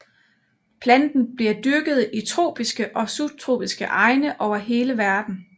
Planten bliver dyrket i tropiske og subtropiske egne over hele verdenen